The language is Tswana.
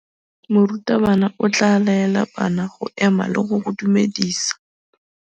Morutabana o tla laela bana go ema le go go dumedisa.